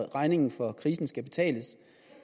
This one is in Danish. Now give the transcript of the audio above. regningen for krisen skal betales